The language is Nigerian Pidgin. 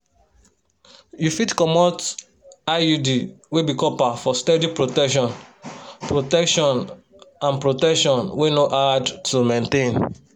you fit comot iud wey be copper for steady protection protection and protection wey no hard to maintain.